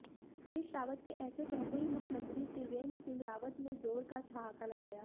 हरीश रावत के ऐसे कहते ही मुख्यमंत्री त्रिवेंद्र सिंह रावत ने जोर का ठहाका लगाया